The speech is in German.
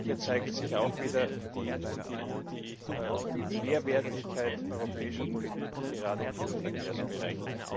Hier zeigt sich auch wieder die Mehrwertigkeit europäischer Politik, gerade im Luftverkehrsbereich.